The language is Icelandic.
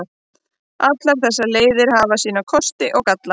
Allar þessar leiðir hafa sína kosti og galla.